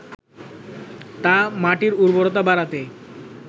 তা মাটির উর্বরতা বাড়াতে